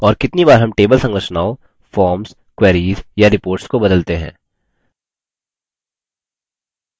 और कितनी बार हम table संरचनाओं forms queries या reports को बदलते हैं